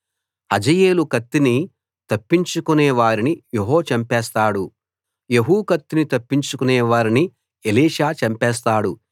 హజాయేలు కత్తిని తప్పించుకొనే వారిని యెహూ చంపేస్తాడు యెహూ కత్తిని తప్పించుకొనే వారిని ఎలీషా చంపేస్తాడు